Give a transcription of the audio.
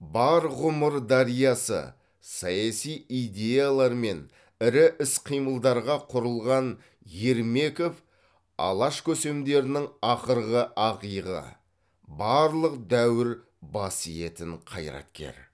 бар ғұмыр дариясы саяси идеялар мен ірі іс қимылдарға құрылған ермеков алаш көсемдерінің ақырғы ақиығы барлық дәуір бас иетін қайраткер